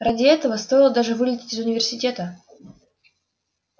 ради этого стоило даже вылететь из университета